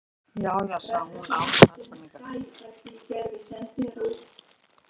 Já, já- sagði hún án sannfæringar.